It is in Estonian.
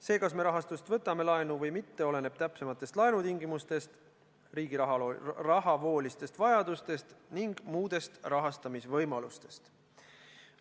See, kas me rahastust laenu võtame, oleneb täpsematest laenutingimustest, riigi rahavoolistest vajadustest ning muudest rahastamisvõimalustest.